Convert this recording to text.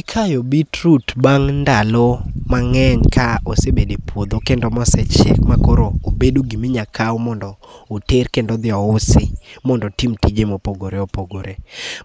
Ikayo beetroot bang' ndalo mang'eny ka osebedo e puodho kendo mosechiek makoro obedo gimi nyakaw mondo oter kendo odhi ousi mondo otim tije mopogore opogore.